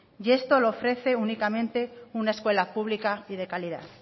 y esto lo ofrece únicamente una escuela pública y de calidad